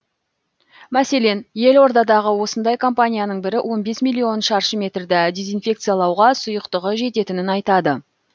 мәселен елордадағы осындай компанияның бірі он бес миллион шаршы метрді дезинфекциялауға сұйықтығы жететінін айтады